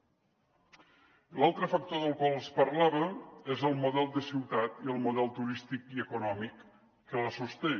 i l’altre factor del qual els parlava és el model de ciutat i el model turístic i econòmic que la sosté